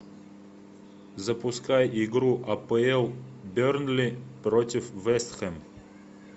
запускай игру апл бернли против вест хэм